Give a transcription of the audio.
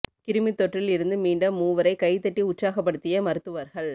கிருமித் தொற்றில் இருந்து மீண்ட மூவரை கை தட்டி உற்சாகப்படுத்திய மருத்துவர்கள்